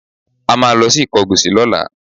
A máa lọ sí Ìkọgòsì lọ́la